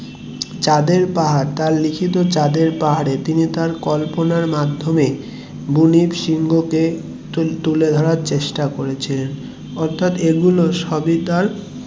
চাঁদের পাহাড় তার লিখিত কল্পনার মাধ্যমে বুনি, সিংহ কে তুলে ধরার চেষ্টা করেছিলেন অর্থাৎ এগুলো সবই তার